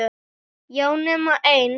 Já, nema ein.